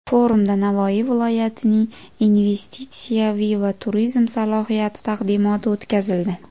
Forumda Navoiy viloyatining investitsiyaviy va turizm salohiyati taqdimoti o‘tkazildi.